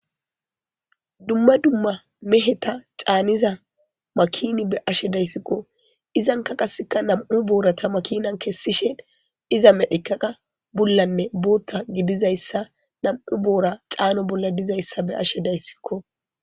Dumma dumma meheta caaniza makini be ashe dayssikko izan ka qaseka nam'u boorata makinan kessishen iza medhikaqa bullanne bootta gidizayssa nam'u boora xaano bolla dizayssa be ashe dayssikko.